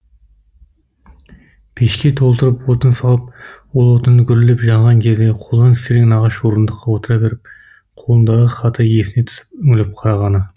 пешке толтырып отын салып ол отыны гүрілдеп жанған кезде қолдан істелген ағаш орындыққа отыра беріп қолындағы хаты есіне түсіп үңіліп қарағаны